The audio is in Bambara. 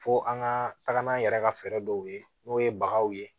Fo an ka taga n'an yɛrɛ ka fɛɛrɛ dɔw ye n'o ye baganw ye